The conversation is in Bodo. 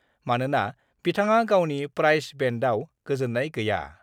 मानोना बिथाङा गावनि प्राइस बेन्डआव गोजोन्नाय गैया।